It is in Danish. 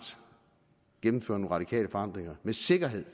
gennemfører nogle radikale forandringer med sikkerhed